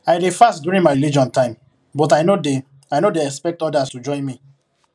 i dey fast during my religion time but i no dey i no dey expect others to join me